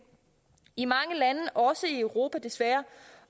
i mange lande også i europa desværre